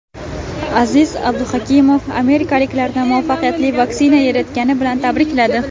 Aziz Abduhakimov amerikaliklarni muvaffaqiyatli vaksina yaratgani bilan tabrikladi.